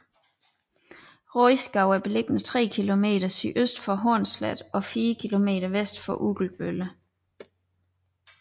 Rodskov er beliggende tre kilometer sydøst for Hornslet og fire kilometer vest for Ugelbølle